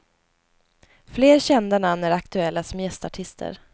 Fler kända namn är aktuella som gästartister.